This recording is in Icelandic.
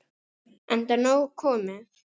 Enda nóg komið.